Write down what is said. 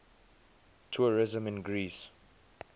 tourism in greece